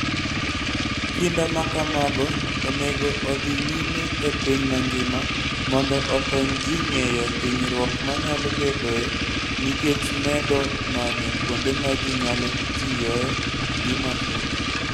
Kinda ma kamago onego odhi nyime e piny mangima mondo okony ji ng'eyo hinyruok manyalo bedoe nikech medo manyo kuonde ma ji nyalo tiyoe gi mafuta.